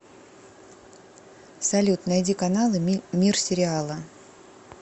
салют найди каналы мир сериала